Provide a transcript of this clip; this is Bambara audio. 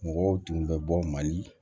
Mɔgɔw tun bɛ bɔ mali